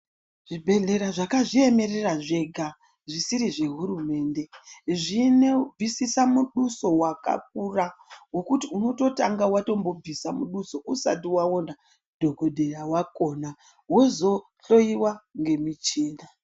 Zvibhedhlera zvakazviememerera zvega zvisiri zvehurumende zvinebvisisa muduso wakakura. Wekuti unototanga wabvisa muduso usati waona dhokodheya wakhona. Wozohloiwa ngemuchina.